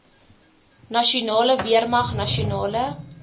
nasionale weermag nasionale